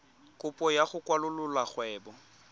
kopo ya go kwalolola kgwebo